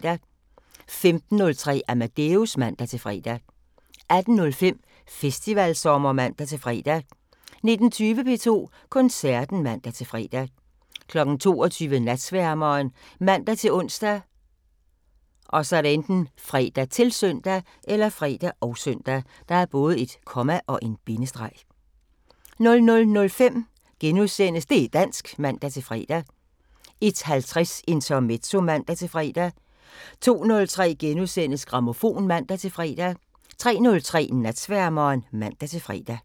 15:03: Amadeus (man-fre) 18:05: Festivalsommer (man-fre) 19:20: P2 Koncerten (man-fre) 22:00: Natsværmeren ( man-ons, fre, -søn) 00:05: Det' dansk *(man-fre) 01:50: Intermezzo (man-fre) 02:03: Grammofon *(man-fre) 03:03: Natsværmeren (man-fre)